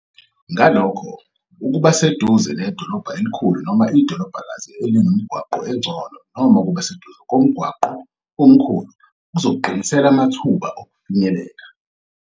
Ngalokho, ukuba seduze nedolobha elikhulu noma idolobhakazi elinemigwaqo engcono noma ukuba seduze komgwaqo omkhulu kuzokuqiniseisa amathuba okufinyelela.